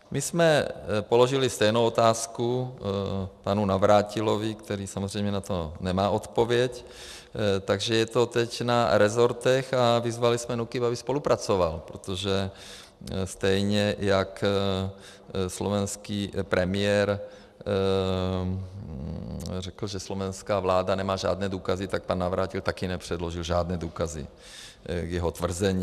My jsme položili stejnou otázku panu Navrátilovi, který samozřejmě na to nemá odpověď, takže je to teď na rezortech, a vyzvali jsme NÚKIB, aby spolupracoval, protože stejně jak slovenský premiér řekl, že slovenská vláda nemá žádné důkazy, tak pan Navrátil také nepředložil žádné důkazy k jeho tvrzení.